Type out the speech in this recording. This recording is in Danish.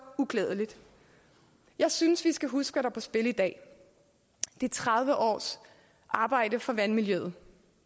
uklædeligt jeg synes vi skal huske hvad på spil i dag det er tredive års arbejde for vandmiljøet